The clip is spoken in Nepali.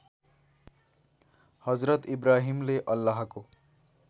हजरत इब्राहिमले अल्लाहको